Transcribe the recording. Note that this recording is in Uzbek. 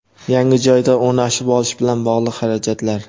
yangi joyda o‘rnashib olish bilan bog‘liq xarajatlar;.